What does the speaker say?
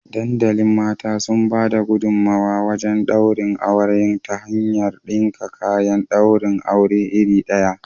Dandalin mata sun bada gudumawa wajen daurin auren ta hanyar dinka kayan daurin aure iri ɗaya